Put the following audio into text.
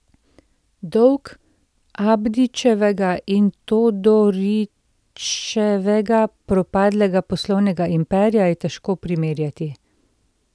Dolg Abdićevega in Todorićevega propadlega poslovnega imperija je težko primerjati.